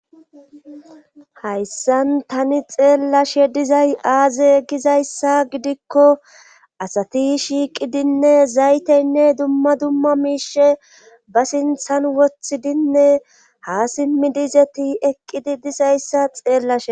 hayssan tani xeellashe dizay aaze gizayssa gidikko asati shiiqidinne zayteynne dumma dumma miishe ba sinthan wothidinne ha simmidizeti eqqidi disayssa xeellashe